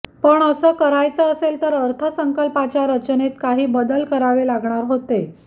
पण अस करायचं असेल तर अर्थसंकल्पाच्या रचनेतच काही बदल करावे लागणार होते